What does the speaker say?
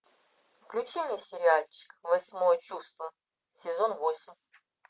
включи мне сериальчик восьмое чувство сезон восемь